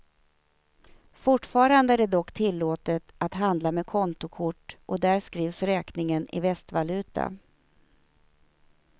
Fortfarande är det dock tillåtet att handla med kontokort och där skrivs räkningen i västvaluta.